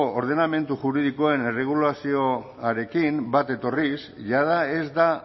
ordenamendu juridikoen erregulazioarekin bat etorriz jada ez da